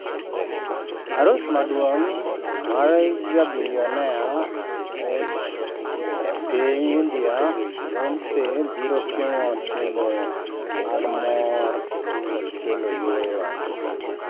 Arus ma duong' mar jobilionea ort e piny india, Beyonce biro timo timbe mag mor kod kelo yueyo